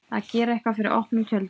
Að gera eitthvað fyrir opnum tjöldum